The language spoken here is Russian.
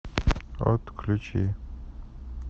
отключи